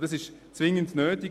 Dies ist zwingend nötig.